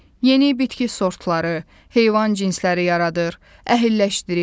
Yeni bitki sortları, heyvan cinsləri yaradır, əhilləşdirir.